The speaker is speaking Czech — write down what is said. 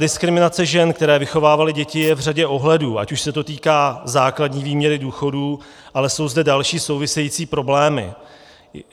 Diskriminace žen, které vychovávaly děti, je v řadě ohledů, ať už se to týká základní výměry důchodů, ale jsou zde další související problémy.